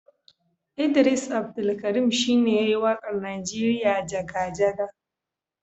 Idris Abdulkarim shi ne ya yi waƙar Najeriya jaga-jaga.